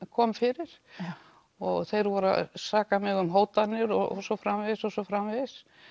kom fyrir og þeir voru að saka mig um hótanir og svo framvegis og svo framvegis